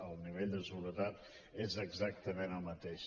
el nivell de seguretat és exactament el mateix